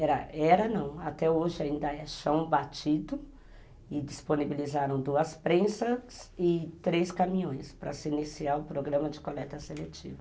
Era, era não, até hoje ainda é chão batido e disponibilizaram duas prensas e três caminhões para se iniciar o programa de coleta seletiva.